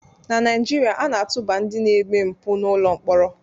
Na Naijiria, a na-atụba ndị na-eme mpụ n'ụlọ mkpọrọ